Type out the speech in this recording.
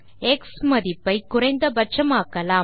X மதிப்பை குறைந்த பட்சம் ஆக்கலாம்